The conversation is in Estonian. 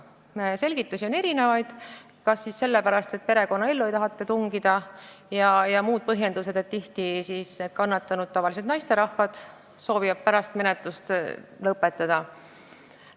Põhjendusi on erinevaid: kas öeldakse, et ei soovita perekonnaellu tungida, või tuuakse põhjendus, et tihti soovivad kannatanud, tavaliselt naisterahvad, hiljem menetlust lõpetada.